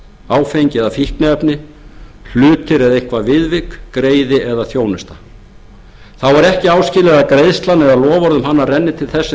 áfengi eða fíkniefni hlutir eða eitthvert viðvik greiði eða þjónusta þá er ekki áskilið að greiðslan eða loforð um hana renni til þess sem